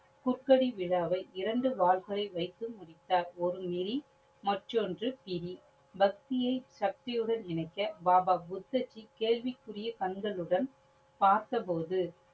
புக்கடி விழாவை இரண்டு வாள்களை வைத்து முடித்தார். ஒரு நெறி மற்றொண்டு பிரி. பக்தியை சக்தியுடன் இணைக்க பாபா புத்தர்ஜி கேள்விக்குரிய கண்களுடன் பார்த்த பொழுது